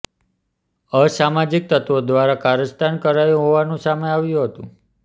અસામાજીક તત્વો દ્વારા કારસ્તાન કરાયું હોવાનું સામે આવ્યું હતું